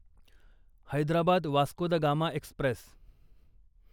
Hyderabad Vasco da Gama Express